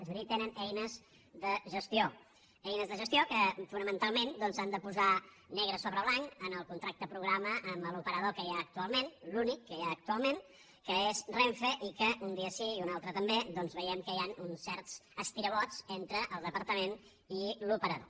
és a dir tenen eines de gestió eines de gestió que fonamentalment doncs han de posar negre sobre blanc en el contracte programa amb l’operador que hi ha actualment l’únic que hi ha actualment que és renfe i que un dia sí i un altre també doncs veiem que hi han uns certs estirabots entre el departament i l’operador